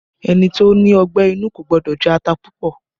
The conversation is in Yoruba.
Ẹni tó ní ọgbẹ́ inú kò gbọ́dọ̀ jẹ ata púpọ̀